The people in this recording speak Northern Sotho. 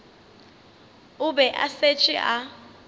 o be a šetše a